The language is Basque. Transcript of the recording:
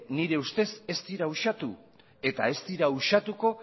nire ustez ez dira uxatu eta ez dira uxatuko